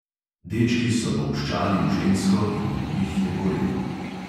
Dečki so bolščali v žensko in v njih je gorelo.